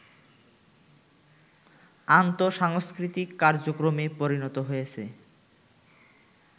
আন্তঃসাংস্কৃতিক কার্যক্রমে পরিণত হয়েছে